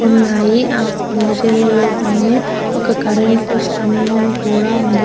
ఉన్నాయ్. ఆ కొండా చెరియల పైనే ఒక కరెంటు స్థంభం కూడా ఉంది.